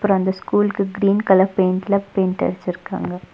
அப்றோ அந்த ஸ்கூல்க்கு கிரீன் கலர் பெயிண்ட்ல பெயிண்ட் அடிச்சுருக்காங்க.